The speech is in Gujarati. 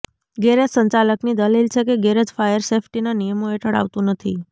ગેરેજ સંચાલકની દલીલ છે કે ગેરેજ ફાયર સેફ્ટીના નિયોમો હેઠળ આવતું નથી